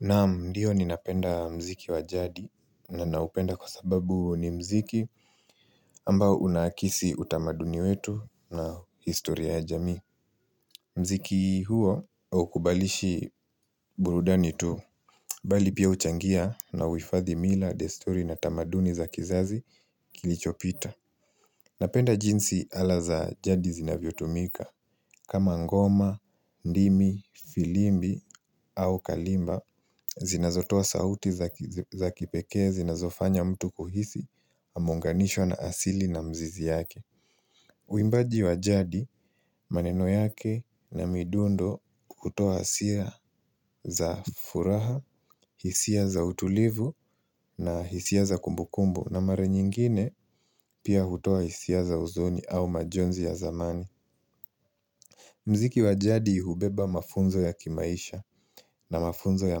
Naam ndio ninapenda mziki wa jadi na naupenda kwa sababu ni mziki ambao unakisi utamaduni wetu na historia ya jamii mziki huo haukubalishi burudani tu, bali pia huchangia na huhifadhi mila, desturi na tamaduni za kizazi kilicho pita Napenda jinsi ala za jadi zinavyotumika, kama ngoma, ndimi, filimbi au kalimba zinazotoa sauti za kipekee zinazofanya mtu kuhisi ameunganishwa na asili na mzizi yake. Uimbaji wa jadi, maneno yake na midundo, hutoa hisia za furaha, hisia za utulivu na hisia za kumbukumbu na mara nyingine pia hutoa hisia za usoni au majonzi ya zamani. Mziki wa jadi hubeba mafunzo ya kimaisha na mafunzo ya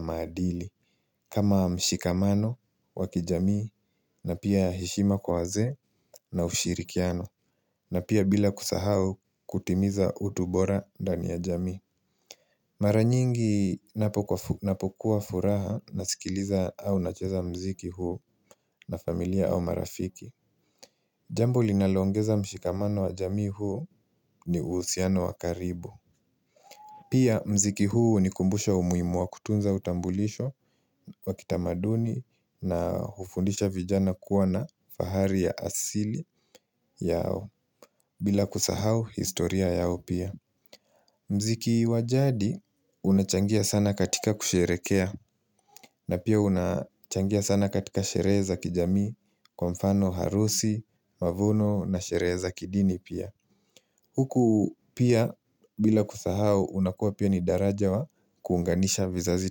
maadili, kama mshikamano wakijamii na pia heshima kwa wazee na ushirikiano, na pia bila kusahau kutimiza utu bora ndani ya jamii Mara nyingi ninapokuwa na furaha nasikiliza au nacheza mziki huu na familia au marafiki Jambo linalo ongeza mshikamano wa jamii huu ni uhusiano wa karibu Pia mziki huu hunikumbusha umuhimu wa kutunza utambulisho wa kitamaduni na hufundisha vijana kuwa na fahari ya asili yao, bila kusahau historia yao pia. Mziki wa jadi unachangia sana katika kusherehekea na pia unachangia sana katika sherehe za kijamii, kwa mfano harusi, mavuno na sherehe za kidini pia. Huku pia bila kusahau, unakuwa pia ni daraja wa kuunganisha vizazi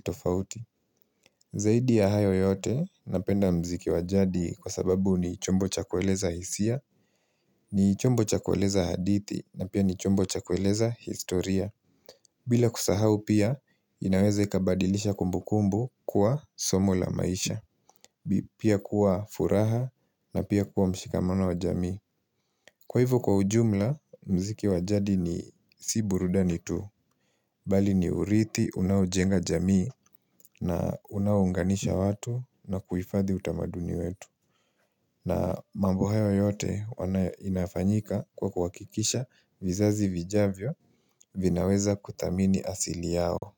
tofauti. Zaidi ya hayo yote, napenda mziki wa jadi kwa sababu ni chombo chakueleza hisia, ni chombo chakueleza hadithi, na pia ni chombo chakueleza historia. Bila kusahau pia inaweza ikabadilisha kumbukumbu kuwa somo la maisha, pia kuwa furaha na pia kuwa mshikamano wa jamii. Kwa hivyo kwa ujumla, mziki wa jadi ni, si burudani tu, bali ni urithi unaojenga jamii na unaounganisha watu na kuhifadhi utamaduni wetu. Na mambo hayo yote huwa inafanyika kwa kuhakikisha vizazi vijavyo vinaweza kuthamini asili yao.